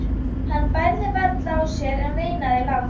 Hann bærði varla á sér en veinaði lágt.